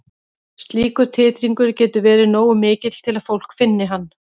Slíkur titringur getur verið nógu mikill til að fólk finni hann.